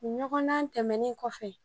Ɲɔgɔndan tɛmɛnen kɔfɛ